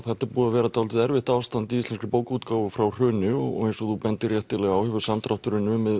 þetta er búið að vera dálítið erfitt ástand í íslenskri bókaútgáfu frá hruni og eins og þú bendir réttilega á hefur samdrátturinn numið